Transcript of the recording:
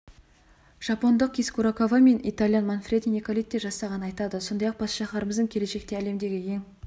жапондық кис курокава мен итальян манфреди николетти жасағанын айтады сондай-ақ бас шаһарымыздың келешекте әлемдегі ең